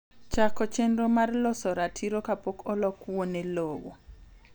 chako chenro mar loso ratiro kapok olok wuone lowo.